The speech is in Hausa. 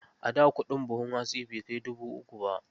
A da kuɗin buhun hatsi bai kai dubu uku ba.